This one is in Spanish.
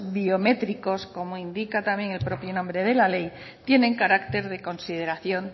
biométricos como indica también el propio nombre de la ley tienen carácter de consideración